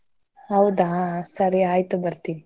ಹೌದ ಸರಿ ಆಯ್ತು ಬರ್ತೀನಿ.